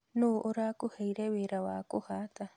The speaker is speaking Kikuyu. Nũũ ũrakũheire wĩra wa kũhata?